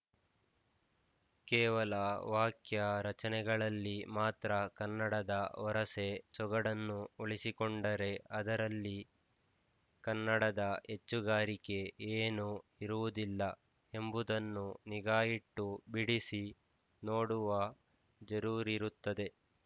ಕೇವಲ ವಾಕ್ಯ ರಚನೆಗಳಲ್ಲಿ ಮಾತ್ರ ಕನ್ನಡದ ವರಸೆ ಸೊಗಡನ್ನು ಉಳಿಸಿಕೊಂಡರೆ ಅದರಲ್ಲಿ ಕನ್ನಡದ ಹೆಚ್ಚುಗಾರಿಕೆ ಏನು ಇರುವುದಿಲ್ಲ ಎಂಬುದನ್ನು ನಿಗಾಯಿಟ್ಟು ಬಿಡಿಸಿ ನೋಡುವ ಜರೂರಿರುತ್ತದೆ